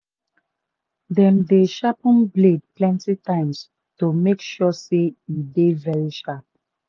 dem dey sharpen blade plenty times to make sure say e dey very sharp